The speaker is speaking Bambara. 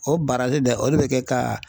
O dɛ o de bɛ kɛ ka